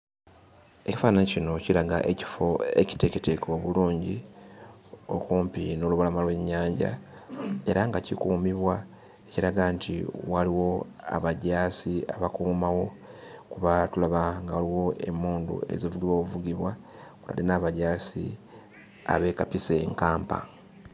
Ekifaananyi kino kiraga ekifo ekiteeketeeke obulungi okumpi n'olubalama lw'ennyanja era nga kikuumibwa kiraga nti waliwo abajaasi abakuumawo kuba tulaba nga waliwo emmundu ezivugibwa obuvugibwa wadde n'abajaasi abeekapise enkampa.